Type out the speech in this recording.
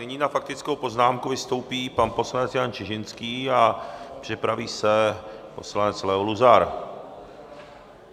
Nyní na faktickou poznámku vystoupí pan poslanec Jan Čižinský a připraví se poslanec Leo Luzar.